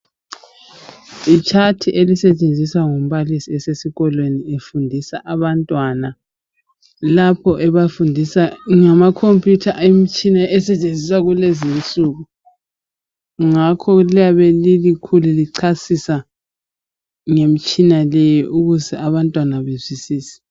Litshathi elisetshenziswa ngumbalisi esesikolweni efundisa abantwana lapho ebafundisa ngamakhompiyutha, imitshina esetshenziswa kulezi insuku ngakho liyabe lilikhulu lichasisa ngemitshina leyi ukuze abantwana bazwisise.